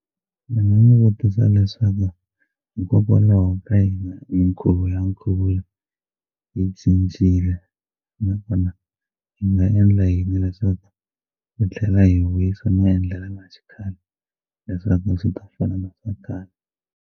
Ndzi nga n'wi vutisa leswaku hikokwalaho ka yini mikhuvo ya nkhuvulo yi cincile na kona hi nga endla yini leswaku hi tlhela hi vuyisa maendlelo ma xikhale leswaku swi ta fana na swa khale.